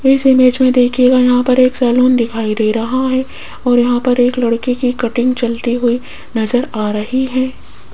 इस इमेज में देखीएगा यहां पर एक सैलून दिखाई दे रहा है और यहां पर एक लड़के की कटिंग चलती हुई नजर आ रही है।